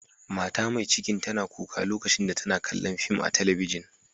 Mata Mai cikin tana kuka lokacin da tana kalla'n fim a'telibijin.